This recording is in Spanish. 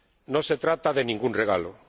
no se trata de ningún regalo.